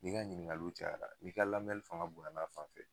N'i ga ɲiningaliw cayara n'i ka lamɛli fanga bonyana a fanfɛ